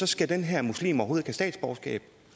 skal den her muslim overhovedet ikke have statsborgerskab